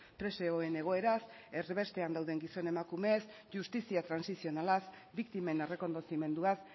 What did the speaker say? presoen egoeraz erbestean dauden gizon emakumez justizia trantsizionalaz biktimen errekonozimenduaz